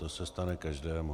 To se stane každému.